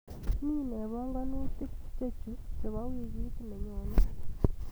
Mii nee panganutik chechu chebo wikit nenyone?